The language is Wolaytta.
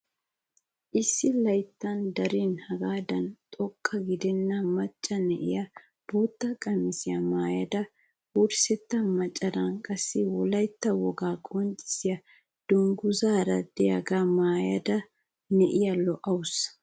Issi layttan darin hegaadan xoqqa gidenna macca na'iyaa bootta qamisiyaa maayda wurssetta macaran qassi wolaytta wogaa qonccisiyaa dunguzaara de'iyaga maayida na'iyaa lo"awus!